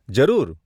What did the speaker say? જરૂર.